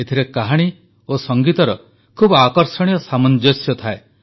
ଏଥିରେ କାହାଣୀ ଓ ସଙ୍ଗୀତର ଖୁବ ଆକର୍ଷଣୀୟ ସାମଞ୍ଜସ୍ୟ ଥାଏ